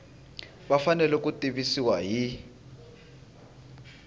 va fanele ku tivisiwa hi